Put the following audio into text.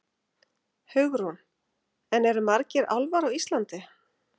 Hugrún: En eru margir álfar á Íslandi?